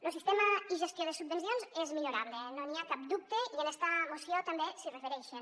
lo sistema i gestió de subvencions és millorable no n’hi ha cap dubte i en esta moció també s’hi refereixen